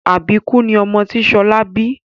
Àbíkú ni ọmọ tí Ṣọlá bí